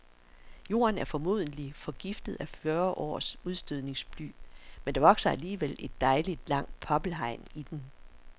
Jorden er formodentlig forgiftet af fyrre års udstødningsbly, men der vokser alligevel et dejligt langt poppelhegn i den.